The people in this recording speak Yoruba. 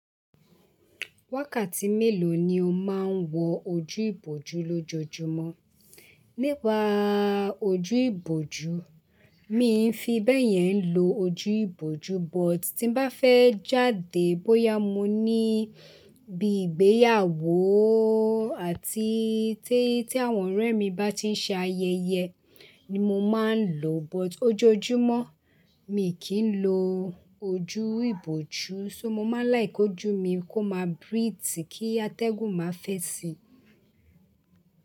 Wákàtí mélòó ni o máa ń wọ ojú ìbòjú lójoojúmọ́? Nípa ojú ìbòjú, mii fi bẹ́yẹn lo ojú ìbòjú but tí n bá fẹ́ jáde bóyá mo ní bií ìgbéyàwó àti tí àwọn ọ̀rẹ́ mi bá ti ń ṣe ayẹyẹ ni mo máa ń lò, but ojoojúmọ́ mi kì n lo ojú ìbòjú so mo máa láke k'où mí kó máa breathe kí atẹ́gùn máa fẹ́ sí i.